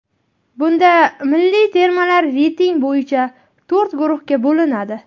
Bunda milliy termalar reyting bo‘yicha to‘rt guruhga bo‘linadi.